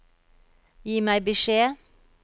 Gi meg beskjed